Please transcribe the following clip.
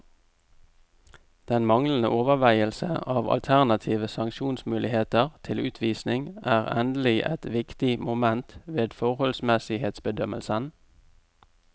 Den manglende overveielse av alternative sanksjonsmuligheter til utvisning er endelig et viktig moment ved forholdsmessighetsbedømmelsen.